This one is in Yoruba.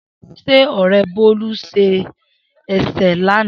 Se Ore Bolu se ese lana?